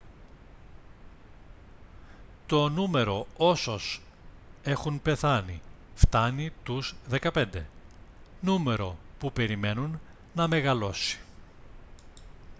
το νούμερο όσως έχουν πεθάνει φτάνει τους 15 νούμερο που περιμένουν να μεγαλώσει